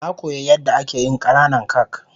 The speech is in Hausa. Na koya yan da ake yin kananan kak.